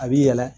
A b'i yɛlɛ